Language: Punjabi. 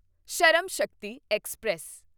ਸ਼ਰਮ ਸ਼ਕਤੀ ਐਕਸਪ੍ਰੈਸ